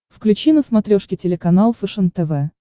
включи на смотрешке телеканал фэшен тв